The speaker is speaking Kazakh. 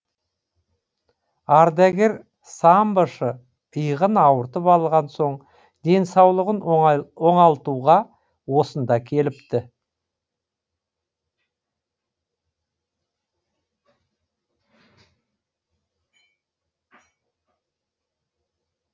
ардагер самбошы иығын ауыртып алған соң денсаулығын оңалтуға осында келіпті